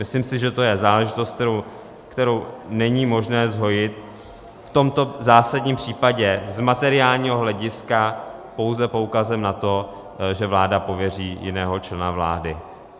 Myslím si, že to je záležitost, kterou není možné zhojit v tomto zásadním případě z materiálního hlediska pouze poukazem na to, že vláda pověří jiného člena vlády.